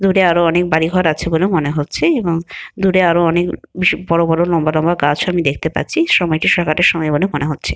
দূরে আরো অনেক বাড়ি ঘর আছে বলে মনে হচ্ছে এবং দূরে আরো অনেক বেশ বড় বড় লম্বা লম্বা গাছও আমি দেখতে পাচ্ছি সময়টি সকালের সময় বলে আমরা মনে হচ্ছে।